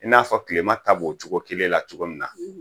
I n'a fɔ tilema ka b'o cogo kelen na cogo min na